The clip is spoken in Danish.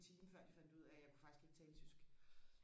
en time før de fandt ud af at jeg kunne faktisk ikke tale tysk